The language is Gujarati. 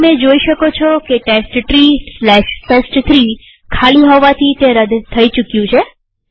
પણ તમે જોઈ શકો છો કે testtreeટેસ્ટ3 ખાલી હોવાથી તે રદ થઇ ચુક્યું છે